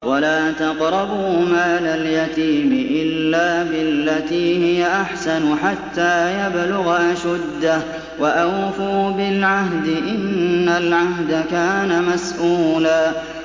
وَلَا تَقْرَبُوا مَالَ الْيَتِيمِ إِلَّا بِالَّتِي هِيَ أَحْسَنُ حَتَّىٰ يَبْلُغَ أَشُدَّهُ ۚ وَأَوْفُوا بِالْعَهْدِ ۖ إِنَّ الْعَهْدَ كَانَ مَسْئُولًا